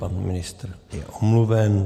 Pan ministr je omluven.